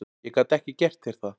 Ég gat ekki gert þér það.